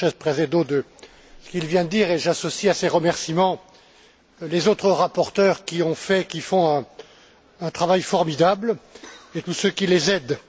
Sánchez Presedo de ce qu'il vient de dire et j'associe à ces remerciements les autres rapporteurs, qui ont fait, et qui font, un travail formidable, et tous ceux qui les aident.